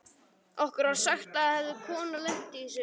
Okkur var sagt að það hefði kona lent í þessu.